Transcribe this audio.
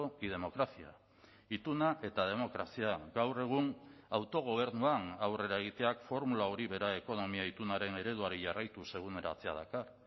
y democracia ituna eta demokrazia gaur egun autogobernuan aurrera egiteak formula hori bera ekonomia itunaren ereduari jarraituz eguneratzea dakar